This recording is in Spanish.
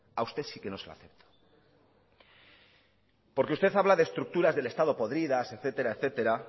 a usted sí que no se la acepto porque usted habla de estructuras del estado podridas etcétera etcétera